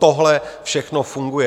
Tohle všechno funguje.